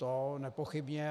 To nepochybně.